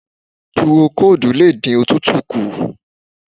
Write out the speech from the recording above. Púrókóòdù lè dí òtútù kù.